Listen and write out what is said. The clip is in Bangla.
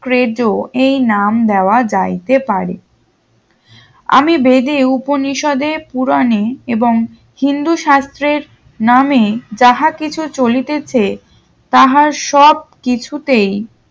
crezo এই নাম দেওয়া যাইতে পারে আমি বেদে উপনিষদে পূরণে এবং হিন্দু শাস্ত্রের নাম যাহা কিছু চলিতেছে তাহার সব কিছুতেই